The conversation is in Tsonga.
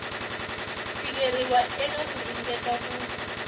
tikeriwa eka ku ringeta ku